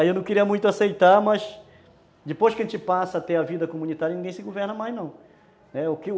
Aí eu não queria muito aceitar, mas depois que a gente passa a ter a vida comunitária, ninguém se governa mais não, né.